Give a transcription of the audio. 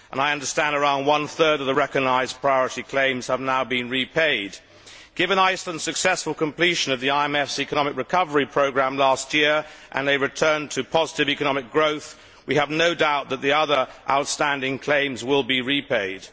I understand around one third of the recognised priority claims have now been repaid. Given Iceland's successful completion of the IMF's economic recovery programme last year, and a return to positive economic growth, we have no doubt that the other outstanding claims will be repaid.